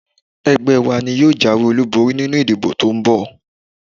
Ẹgbẹ́ wa ni yóò jáwé olúborí nínú ìdìbò to ń bọ̀